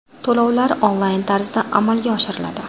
To‘lovlar onlayn tarzda amalga oshiriladi.